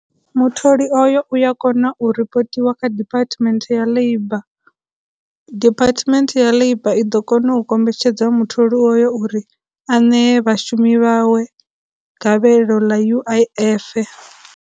Mutholi oyo u ya kona u ripotiwa kha department ya labour, department ya labour i ḓo kona u kombetshedza mutholi oyo uri ṋee vhashumi vhawe magavhelo ḽa U_I_F.